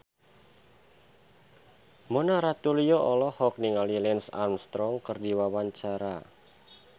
Mona Ratuliu olohok ningali Lance Armstrong keur diwawancara